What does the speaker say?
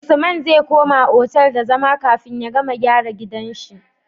Usman zai koma otal da zama kafin ya gama gyara gidan shi